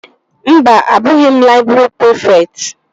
Mba, abụghị m laịbrị prịfekt